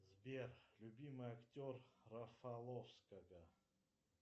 сбер любимый актер рафаловского